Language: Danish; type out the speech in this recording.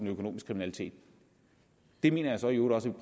økonomisk kriminalitet det mener jeg så i øvrigt også